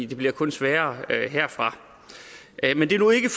det bliver kun sværere herfra men det er nu ikke